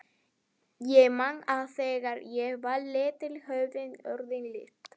Ég man að þegar ég var lítill höfðu orðin lit.